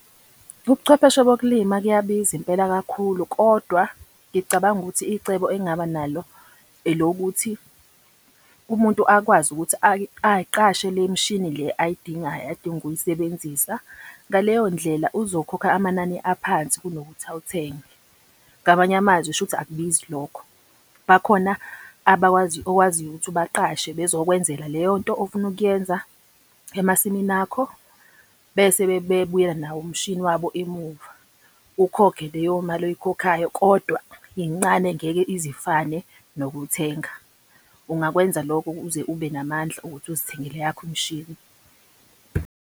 Ubuchwepheshe bokulima kuyabiza impela kakhulu kodwa, ngicabanga ukuthi icebo engingaba nalo elokuthi umuntu akwazi ukuthi ay'qashe le mishini le ayidingayo adinga ukuyisebenzisa. Ngaleyo ndlela uzokhokha amanani aphansi kunokuthi awuthenge. Ngamanye amazwi shuthi akubizi lokho. Bakhona abakwazi okwaziyo ukuthi ubaqashe bezokwenzela leyo nto ofuna ukuyenza emasimini akho bese bebuyela nawo umshini wabo emuva. Ukhokhe leyo mali oyikhokhayo kodwa incane ngeke ize ifane nokuthenga. Ungakwenza lokho uze ube namandla ukuthi uzithengele eyakho imishini.